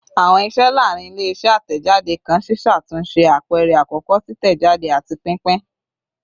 Awọn iṣẹ laarin ile-iṣẹ atẹjade kan ṣiṣatunṣe, apẹrẹ akọkọ, titẹjade, ati pinpin